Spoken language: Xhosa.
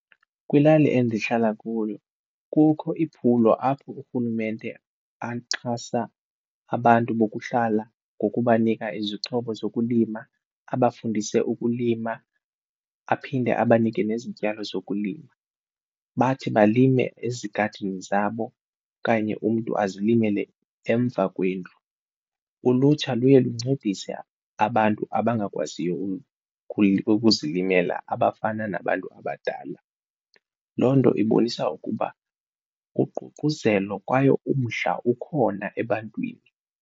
Kwilali endihlala kuyo kukho iphulo apho urhulumente axhasa abantu bokuhlala ngokubanika izixhobo zokulima abafundise ukulima aphinde abanike nezityalo zokulima. Bathi balime ezigadini zabo kanye umntu azilimele emva kwendlu. Ulutsha luye luncedise abantu abangakwaziyo ukuzilimela abafana nabantu abadala loo nto ibonisa ukuba uququzelo kwaye umdla ukhona ebantwini.